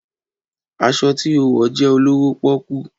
Aṣọ ti o wọ jẹ olowo poku